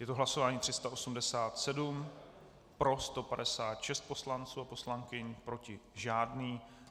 Je to hlasování 387, pro 156 poslanců a poslankyň, proti žádný.